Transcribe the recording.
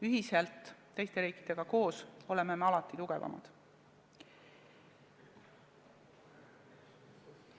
Ühiselt, teiste riikidega koos oleme alati tugevamad.